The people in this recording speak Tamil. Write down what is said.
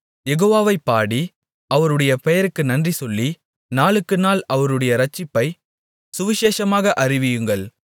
யெகோவாவைப் பாடி அவருடைய பெயருக்கு நன்றி சொல்லி நாளுக்குநாள் அவருடைய இரட்சிப்பைச் சுவிசேஷமாக அறிவியுங்கள்